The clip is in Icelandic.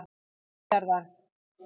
milljarðar